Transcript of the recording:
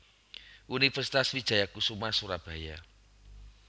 Universitas Wijaya Kusuma Surabaya